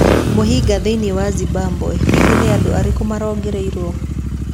Mĩhĩnga Thĩinĩ wa Zimbabwe: Hihi nĩ andũ arĩkũ marongoreirio?